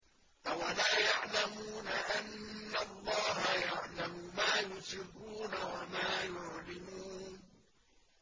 أَوَلَا يَعْلَمُونَ أَنَّ اللَّهَ يَعْلَمُ مَا يُسِرُّونَ وَمَا يُعْلِنُونَ